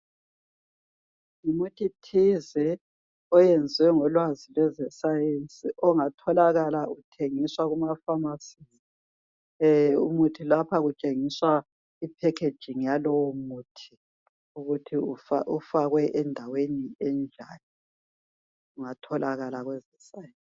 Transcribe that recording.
ngumuthi thize oyenziwe ngolwazi lweze science ongatholakala uthengiswa ema phamarcy lapha kutshengiswa i packaging yalowo muthi ukuthi ufakwe endaweni enjani ungatholakala